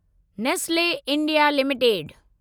Nestle India limited